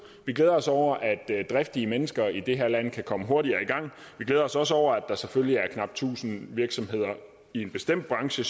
vi glæder os over at driftige mennesker i det her land kan komme hurtigere i gang vi glæder os også over at der selvfølgelig er knap tusind virksomheder i en bestemt branche